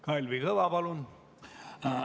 Kalvi Kõva, palun!